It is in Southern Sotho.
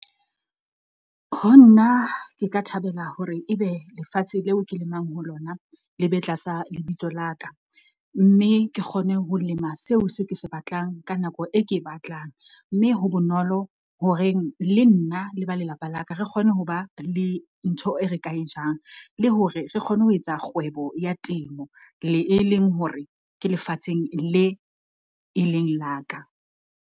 Ho nna ke ka thabela hore ebe lefatshe leo ke lemang ho lona, le be tlasa lebitso la ka, mme ke kgone ho lema seo se ke se batlang ka nako e ke e batlang, mme ho bonolo ho reng le nna le ba lelapa la ka re kgone ho ba le ntho e re ka e jang, le hore re kgone ho etsa kgwebo ya temo, le e leng hore, ke lefatsheng le leng la ka.